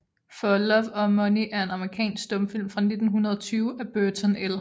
For Love or Money er en amerikansk stumfilm fra 1920 af Burton L